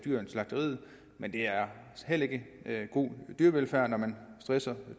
slagteriet men det er heller ikke god dyrevelfærd når man stresser